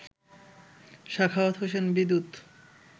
Sakhawat Hossain Bidyut